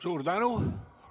Suur tänu!